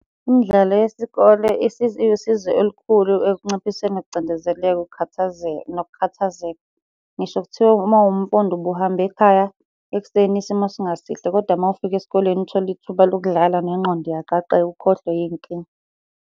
Imidlalo yesikole iwusizo elukhulu ekunciphiseni ukucindezeleka, ukukhathazeka nokukhathazeka. Ngisho kuthiwa uma uwumfundi ubuhambe ekhaya ekuseni isimo singasihle, kodwa uma ufika esikoleni uthole ithuba lokudlala nengqondo iyaqaqeka ukhohlwe iy'nkinga.